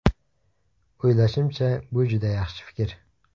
O‘ylashimcha, bu juda yaxshi fikr.